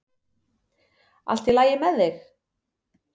Allt í lagi með þig?